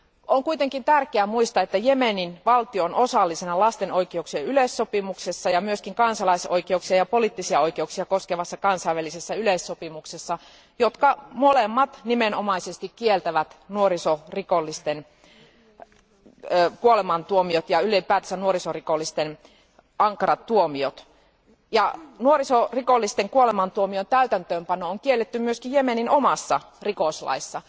On kuitenkin tärkeää muistaa, että Jemenin valtio on osallisena lasten oikeuksien yleissopimuksessa ja myös kansalaisoikeuksia ja poliittisia oikeuksia koskevassa kansainvälisessä yleissopimuksessa, jotka molemmat nimenomaisesti kieltävät nuorisorikollisten kuolemantuomiot ja ylipäätänsä nuorisorikollisten ankarat tuomiot. Nuorisorikollisten kuolemantuomion täytäntöönpano on kielletty myös Jemenin omassa rikoslaissa.